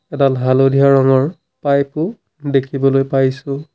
এডাল হালধীয়া ৰঙৰ পাইপো দেখিবলৈ পাইছোঁ।